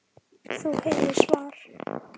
Þú heyrir svar.